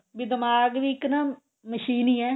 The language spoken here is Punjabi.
ਵੀ ਦਿਮਾਗ ਵੀ ਇੱਕ ਨਾ ਮਸ਼ੀਨ ਈ ਏ